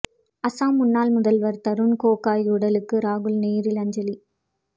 அஸ்ஸாம் முன்னாள் முதல்வர் தருண் கோகோய் உடலுக்கு ராகுல் நேரில் அஞ்சலி